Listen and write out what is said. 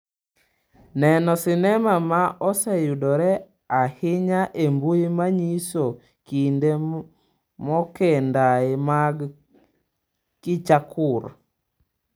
Neno Sinema ma oseyudore ahinya e mbui manyiso kinde mokendae mag kichakur.